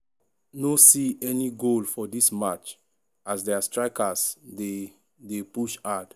no see any goal for dis match as dia strikers dey dey push hard.